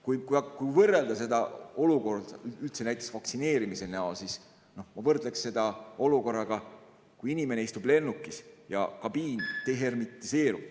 Kuid kui võrrelda seda olukorda üldse, näiteks vaktsineerimist, siis ma võrdleksin seda olukorraga, kui inimene istub lennukis ja kabiin dehermitiseerub ...